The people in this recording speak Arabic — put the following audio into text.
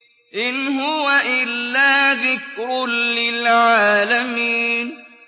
إِنْ هُوَ إِلَّا ذِكْرٌ لِّلْعَالَمِينَ